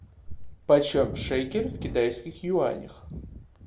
почем шекель в китайских юанях